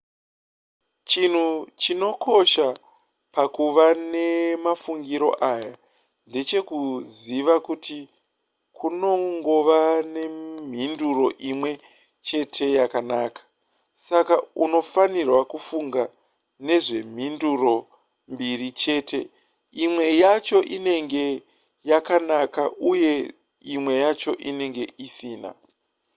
chinhu chinokosha pakuva nemafungiro aya ndechekuziva kuti kunongova nemhinduro imwe chete yakanaka saka unofanira kufunga nezvemhinduro mbiri chete imwe yacho inenge yakanaka uye imwe yacho inenge isina